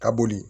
Ka boli